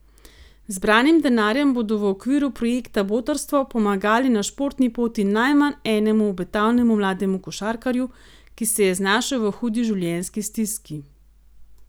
Z zbranim denarjem bodo v okviru projekta Botrstvo pomagali na športni poti najmanj enemu obetavnemu mlademu košarkarju, ki se je znašel v hudi življenjski stiski.